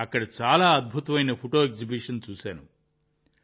అక్కడ చాలా అద్భుతమైన ఫోటో ఎగ్జిబిషన్ చూశాను